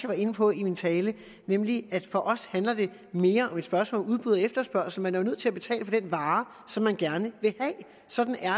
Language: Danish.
var inde på i min tale nemlig at for os handler det mere om et spørgsmål om udbud og efterspørgsel man er jo nødt til at betale for den vare som man gerne vil have sådan er